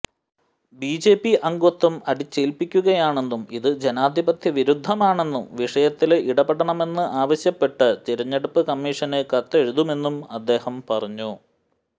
BJP അംഗത്വം അടിച്ചേല്പിക്കുകയാണെന്നും ഇത് ജനാധിപത്യ വിരുദ്ധമാണെന്നും വിഷയത്തില് ഇടപെടണമെന്ന് ആവശ്യപ്പെട്ട് തിരഞ്ഞെടുപ്പ് കമ്മീഷന് കത്തെഴുതുമെന്നും അദ്ദേഹം പറഞ്ഞു